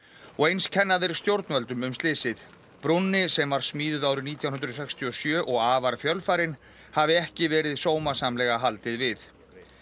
og eins kenna þeir stjórnvöldum um slysið brúnni sem var smíðuð árið nítján hundruð sextíu og sjö og afar fjölfarin hafi ekki verið sómasamlega haldið við